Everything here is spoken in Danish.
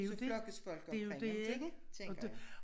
Så flokkes folk omkring én tænker jeg